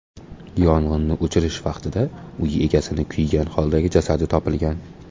Yong‘inni o‘chirish vaqtida uy egasini kuygan holdagi jasadi topilgan.